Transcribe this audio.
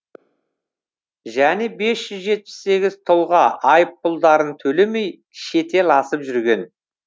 және бес жүз жетпіс сегіз тұлға айыппұлдарын төлемей шетел асып жүрген